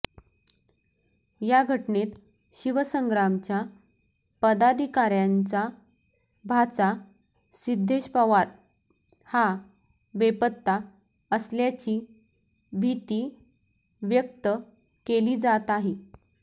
या घटनेत शिवसंग्रामच्या पदाधिकार्यांचा भाचा सिध्देश पवार हा बेपत्ता असल्याची भीती व्यक्त केली जात आहे